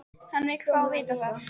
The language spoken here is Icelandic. Hann vill fá að vita það.